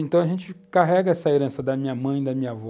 Então a gente carrega essa herança da minha mãe e da minha avó.